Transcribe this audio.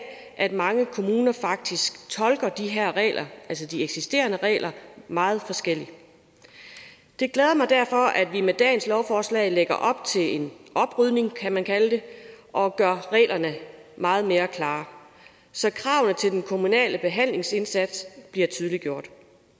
at mange kommuner faktisk tolker de her regler altså de eksisterende regler meget forskelligt det glæder mig derfor at vi med dagens lovforslag lægger op til en oprydning kan man kalde det og gør reglerne meget mere klare så kravene til den på kommunale behandlingsindsats bliver tydeliggjort